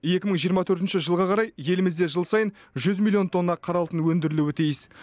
екі мың жиырма төртінші жылға қарай елімізде жыл сайын жүз миллион тонна қара алтын өндірілуі тиіс